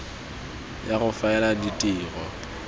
ya go faela ya ditiro